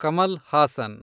Kamal Haasan